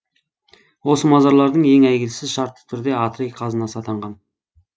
осы мазарлардың ең әйгілісі шартты түрде атрей қазынасы атанған